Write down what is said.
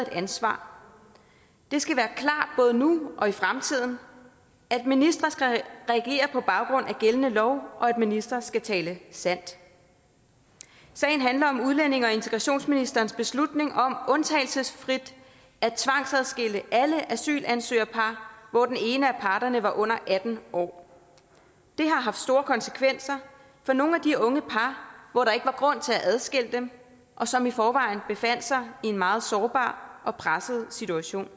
ansvar det skal være klart både nu og i fremtiden at ministre skal regere på baggrund af gældende lov og at ministre skal tale sandt sagen handler om udlændinge og integrationsministerens beslutning om undtagelsesfrit at tvangsadskille alle asylansøgerpar hvor den ene af parterne var under atten år det har haft store konsekvenser for nogle af de unge par hvor der ikke var grund til at adskille dem og som i forvejen befandt sig i en meget sårbar og presset situation